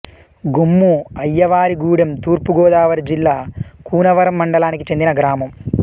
గొమ్ము అయ్యవారిగూడెం తూర్పు గోదావరి జిల్లా కూనవరం మండలానికి చెందిన గ్రామం